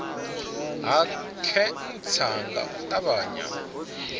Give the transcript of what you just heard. ha khentsa nga u ṱavhanya